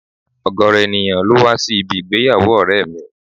Ọ̀gọrọ ènìyàn ló wá sí ibi ìgbéyàwó ọ̀rẹ́ mi